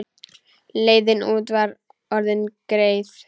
Leiðin út var orðin greið.